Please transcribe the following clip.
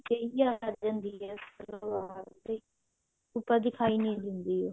ਸਹੀ ਆ ਜਾਂਦੀ ਹੈ ਸਲਵਾਰ ਦੀ ਉੱਪਰ ਦਿਖਾਈ ਨਹੀ ਦਿੰਦੀ